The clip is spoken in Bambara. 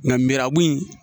Nka mirabu in.